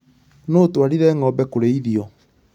Nũũ ũtwarire ng'ombe kũrĩthio?